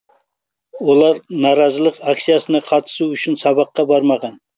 олар наразылық акциясына қатысу үшін сабаққа бармаған